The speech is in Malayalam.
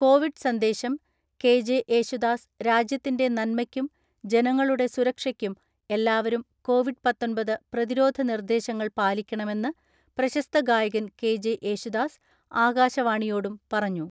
കോവിഡ് സന്ദേശം, കെ.ജെ. യേശുദാസ്, രാജ്യത്തിന്റെ നന്മയ്ക്കും ജനങ്ങളുടെ സുരക്ഷയ്ക്കും എല്ലാവരും കോവിഡ് പാത്തൊൻപത് പ്രതിരോധ നിർദ്ദേശങ്ങൾ പാലിക്കണമെന്ന് പ്രശസ്ത ഗായകൻ കെ ജെ യേശുദാസ് ആകാശവാണിയോടും പറഞ്ഞു..